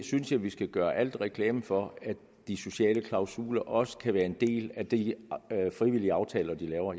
synes at vi skal gøre alt mulig reklame for at de sociale klausuler også kan være en del af de frivillige aftaler de laver